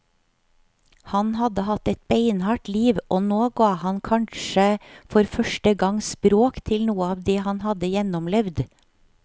Han hadde hatt et beinhardt liv, og nå ga han kanskje for første gang språk til noe av det han hadde gjennomlevd.